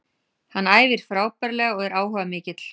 Hann æfir frábærlega og er áhugamikill.